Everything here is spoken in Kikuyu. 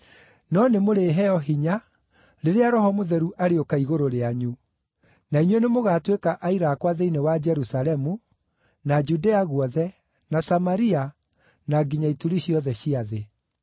No nĩmũrĩheo hinya rĩrĩa Roho Mũtheru arĩũka igũrũ rĩanyu; na inyuĩ nĩmũgatuĩka aira akwa thĩinĩ wa Jerusalemu, na Judea guothe, na Samaria, na nginya ituri ciothe cia thĩ.”